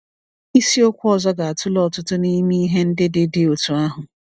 Isiokwu ọzọ ga-atụle ọtụtụ n’ime ihe ndị dị dị otú ahụ.